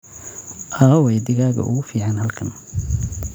aaway digaaga ugu fiican halkan?